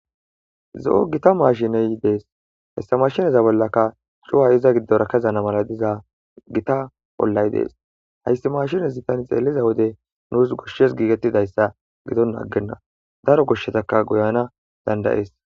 zo7o gita maashineyi dees hessa mashineza bollaka cuwa iza giddora kezana mala diza gita bollay dees hayssi maashinezi tani xeelliza wode nuus goshshes giigettidayssa gidon aggenna daro goshshetaka goyana dandaees